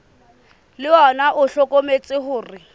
le ona o hlokometse hore